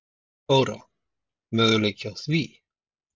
Þóra: Möguleiki á því?